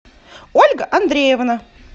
ольга андреевна